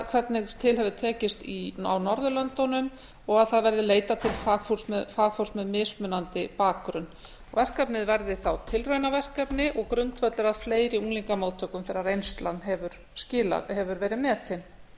hvernig til hefur tekist á norðurlöndunum og að það verði leitað til fagfólks með mismunandi bakgrunn verkefnið verði þá tilraunaverkefni og grundvöllur að fleiri unglingamóttökum þegar reynslan hefur verið metin það